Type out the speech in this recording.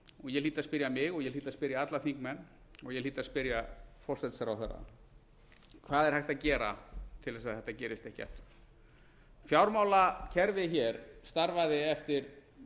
ég hlýt að spyrja mig og ég hlýt að spyrja alla þingmenn og ég hlýt að spyrja forsætisráðherra hvað er hægt að gera til að þetta gerist ekki aftur fjármálakerfið hér starfaði eftir